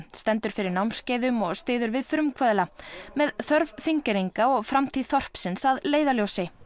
stendur fyrir námskeiðum og styður við frumkvöðla með þörf Þingeyringa og framtíð þorpsins að leiðarljósi